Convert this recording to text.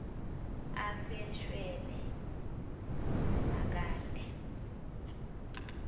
afe shwele simakade